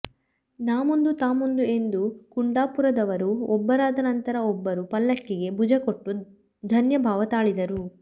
ನಾಮುಂದು ತಾಮುಂದು ಎಂದು ಕುಂಡಪುರದವರು ಒಬ್ಬರಾದ ನಂತರ ಒಬ್ಬರು ಪಲ್ಲಕ್ಕಿಗೆ ಭುಜಕೊಟ್ಟು ಧನ್ಯಭಾವ ತಾಳಿದರು